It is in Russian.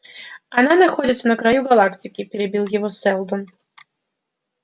она находится на краю галактики перебил его сэлдон